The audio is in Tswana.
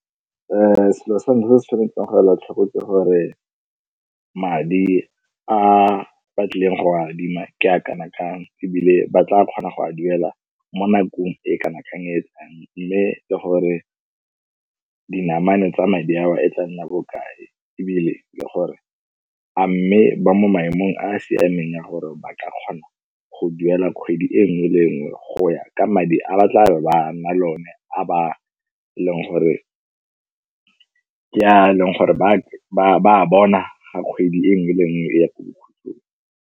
Selo sa ntlha re tshwanetseng gore ba tlhokometse gore madi a ba tlileng go go adima ke a kana kang, ebile ba tla kgona go a duela mo nakong e kana kang. Mme le gore ka dinamane tsa madi a o a tla nna bokae ebile le gore a mme ba mo maemong a a siameng ya gore ba ka kgona go duela kgwedi e nngwe le nngwe go ka madi a batla be ba nna le one, a ba e leng gore ke a e leng gore ba a bona ga kgwedi e nngwe le e nngwe e ya ko bokhutlhong.